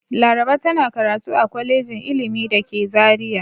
Laraba tana karatu a kwalejin ilimi da ke Zariya.